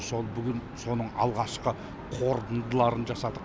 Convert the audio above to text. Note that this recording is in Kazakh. сол бүгін соның алғашқы қорытындыларын жасадық